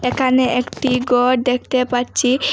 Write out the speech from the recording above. এখানে একটি গর দেখতে পাচ্চি।